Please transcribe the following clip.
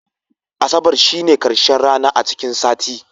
Asabar shine karshen rana a cikin sati.